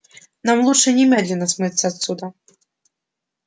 нам лучше немедленно смыться отсюда